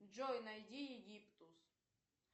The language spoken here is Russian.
джой найди египтус